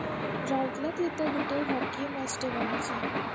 ଗୋଟେ hockey match ଟେ ବନେଇଛେ